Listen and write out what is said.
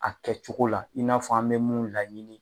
A kɛcogo la i n'a fɔ an mɛ mun laɲini.